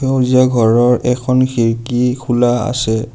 সেউজীয়া ঘৰৰ এখন খিৰিকী খোলা আছে।